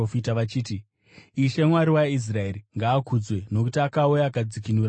“Ishe, Mwari waIsraeri ngaakudzwe, nokuti akauya akadzikinura vanhu vake.